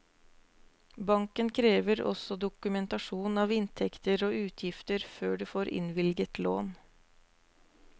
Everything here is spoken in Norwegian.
Banken krever også dokumentasjon av inntekter og utgifter før du får innvilget lån.